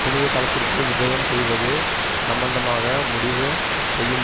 புனித தளத்திற்கு விஜயம் செய்வது சம்மந்தமாக முடிவு செய்யும்